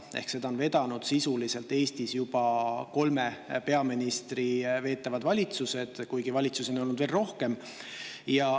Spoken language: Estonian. Ehk siis seda on Eestis vedanud sisuliselt juba kolme peaministri veetud valitsused, kuigi valitsusi on olnud veel rohkem.